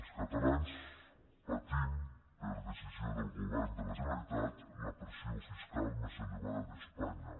els catalans patim per decisió del govern de la generalitat la pressió fiscal més elevada d’espanya